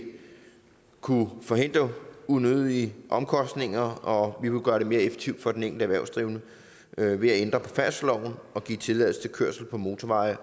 kunne forhindre unødige omkostninger og gøre det mere effektivt for den enkelte erhvervsdrivende ved at vi ændrer færdselsloven og giver tilladelse til kørsel på motorveje